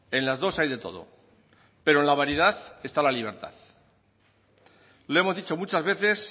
en las dos hay de todo pero en la variedad está la libertad lo hemos dicho muchas veces